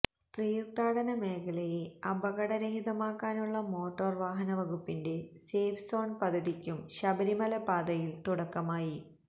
തീര്ത്ഥാടന മേഖലയെ അപകടരഹിതമാക്കാനുള്ള മോട്ടോര് വാഹന വകുപ്പിന്റെ സേഫ് സോണ് പദ്ധതിക്കും ശബരിമല പാതയില് തുടക്കമായി